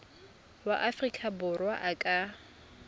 wa aforika borwa a ka